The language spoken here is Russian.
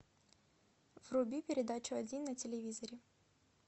вруби передачу один на телевизоре